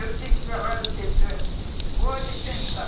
Eu disse para várias pessoas, pode pensar.